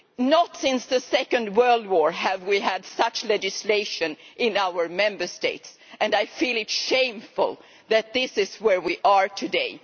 Not since the Second World War have we had such legislation in our Member States and I feel it shameful that this is where we are today.